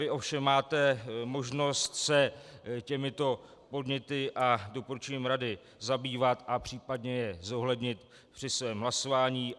Vy ovšem máte možnost se těmito podněty a doporučením rady zabývat a případně je zohlednit při svém hlasování.